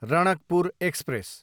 Ranakpur express